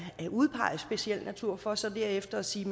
at udpege speciel natur for så derefter at sige